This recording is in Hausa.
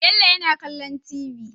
Bello yana kallon tv